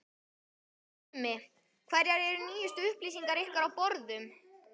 Magnús Tumi, hverjar eru nýjustu upplýsingar á ykkar borðum?